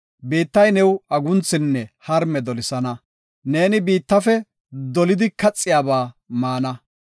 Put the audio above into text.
Biittay new agunthinne harme dolisana; neeni biittafe dolidi kaxiyaba maana.